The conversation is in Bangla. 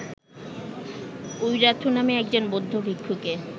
উইরাথু নামে একজন বৌদ্ধ ভিক্ষুকে